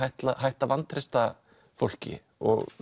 hætta að vantreysta fólki